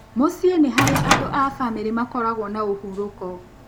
Mũciĩ nĩ harĩa andũ a famĩrĩ makoragwo na ũhurũko.